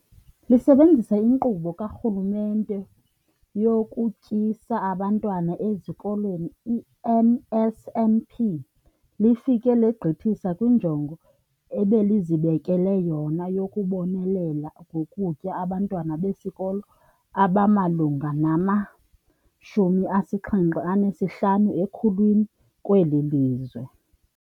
Lisebenzisa iNkqubo kaRhulumente yokuTyisa Abantwana Ezikolweni, i-NSNP, lifike legqithisa kwinjongo ebelizibekele yona yokubonelela ngokutya abantwana besikolo abamalunga nama-75 ekhulwini kweli lizwe.